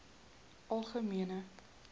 algemene